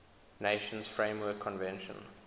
nations framework convention